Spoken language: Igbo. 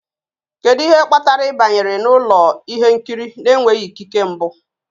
Kedu ihe kpatara ị banyere n'ụlọ ihe nkiri na-enweghị ikike mbụ?